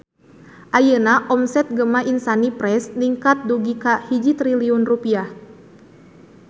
Ayeuna omset Gema Insani Press ningkat dugi ka 1 triliun rupiah